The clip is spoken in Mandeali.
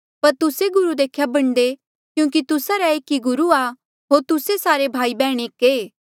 पर तुस्से गुरु देख्या बणदे क्यूंकि तुस्सा रा एक ई गुरु आ होर तुस्से सारे भाई बैहण एक ऐें